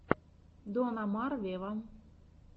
дон омар вево